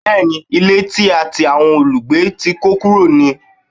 Bẹ́ẹ̀ni, ilé tí a ti àwọn olùgbé tí kó kúrò ni.